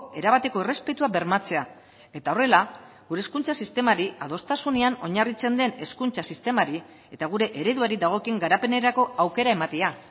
erabateko errespetua bermatzea eta horrela gure hezkuntza sistemari adostasunean oinarritzen den hezkuntza sistemari eta gure ereduari dagokion garapenerako aukera ematea